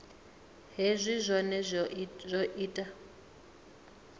hezwi zwohe zwi o ita